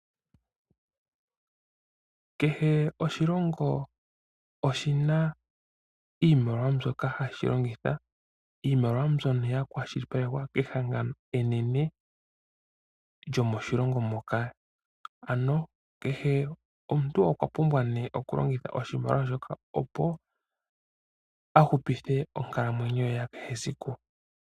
Kehe oshilongo oshina iimaliwa mbyoka hashi longitha. Iimaliwa mbyono ya kwa shilipalekwa kehangano enene lyomoshilongo moka. Ano kehe omuntu okwa pumbwa nee oku longitha oshimaliwa shoka opo a hupithe onkalamwenyo ye ya kehe esiku.